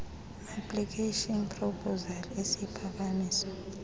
application proposal isiphakamiso